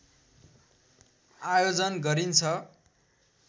आयोजन गरिन्छ